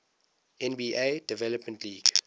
nba development league